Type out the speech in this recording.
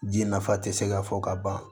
Ji nafa te se ka fɔ ka ban